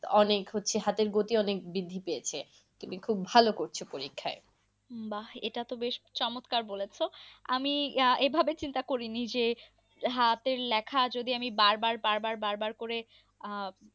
অনেক হচ্ছে হাতের গতি অনেক বৃদ্ধি পেয়েছে। তুমি খুব ভালো করছ পরীক্ষায়। বাঃ এটা তো বেশ চমৎকার বলেছ। আমি আহ এভাবে চিন্তা করিনি যে, হাতের লেখা যদি আমি বার বার বার বার বার করে আহ